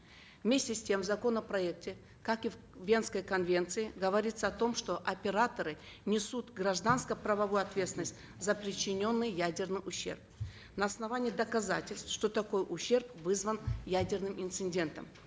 вместе с тем в законопроекте как и в венской конвенции говорится о том что операторы несут гражданско правовую ответственность за причиненный ядерный ущерб на основании доказательств что такой ущерб вызван ядерным инцидентом